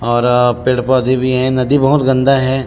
और पेड़-पौधे भी हे नदी बहोत गन्दा हे।